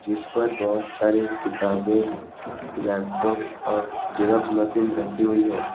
इस पर बहोत सारे किताबें लैपटॉप और जेरॉक्स मशीन रखी हुई है।